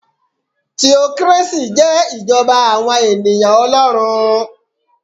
Theocracy jẹ́ ìjọba àwọn ènìyàn Olórun